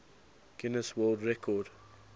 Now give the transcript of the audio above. guinness world record